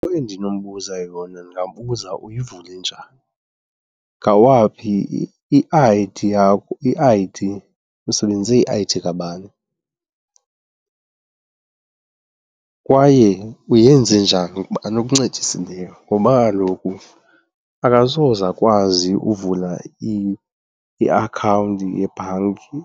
Into endinombuza yona ndingambuza, uyivule njani? Ngawaphi, i-I_D yakho, i-I_D usebenzise i-I_D kabani kwaye uyenze njani ngubani okuncedisileyo? Ngoba kaloku akasoze akwazi uvula iakhawunti yebhanki